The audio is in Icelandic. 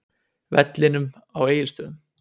vellinum á Egilsstöðum.